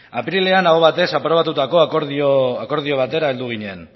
apirilean aho batez aprobatutako akordio batera heldu ginen